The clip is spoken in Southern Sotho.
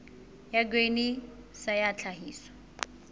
ya grain sa ya tlhahiso